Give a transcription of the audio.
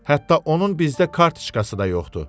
Hətta onun bizdə kartoçkası da yoxdur.